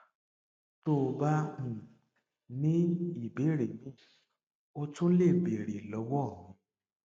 tó o bá um ní ìbéèrè míì o tún lè béèrè lọwọ mi